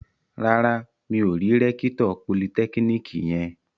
Rárá, mi ò rí rẹ́kítọ̀ politẹ́kíníkì yẹn